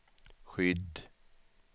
skydd